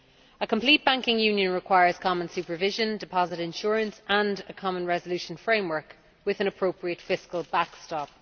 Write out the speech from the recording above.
A complete banking union requires common supervision, deposit insurance and a common resolution framework, with an appropriate fiscal backstop.